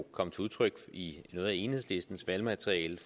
kom til udtryk i noget af enhedslistens valgmateriale